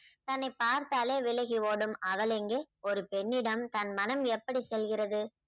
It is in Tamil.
தன்னை பார்த்தாலே விலகி ஓடும் அவள் எங்கே ஒரு பெண்ணிடம் தன் மனம் எப்படி செல்கிறது.